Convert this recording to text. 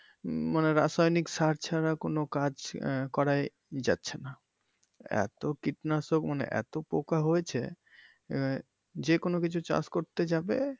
উম মানে রাসায়নিক সার ছাড়া কোন কাজ আহ করাই যাচ্ছে না এতো কীটনাশক মানে এতো পোকা হয়েছে মানে যেকোন কিছু চাষ করতে যাবে।